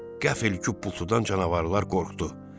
Qəfil küpultudan canavarlar qorxdu.